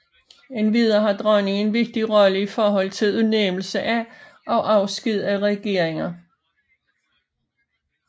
Endvidere har dronningen en vigtig rolle i forhold til udnævnelse af og afsked af regeringer